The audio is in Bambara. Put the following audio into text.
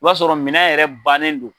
O b'a sɔrɔ minan yɛrɛ bannen do.